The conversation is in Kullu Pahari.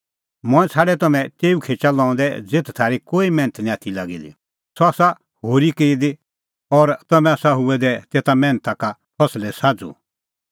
मंऐं छ़ाडै तम्हैं तेऊ खेचा लऊंदै ज़ेथ थारी कोई मैन्थ निं आथी लागी दी सह आसा होरी की दी और तम्हैं आसा हुऐ दै तेसा मैन्था का फसले साझ़ू